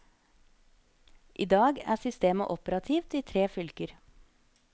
I dag er systemet operativt i tre fylker.